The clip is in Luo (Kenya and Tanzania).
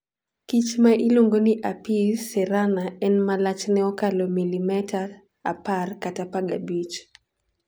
Kich ma iluongo ni Apis cerana en ma lachne okalo milimeta 10 kata 15.